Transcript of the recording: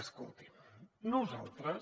escolti’m nosaltres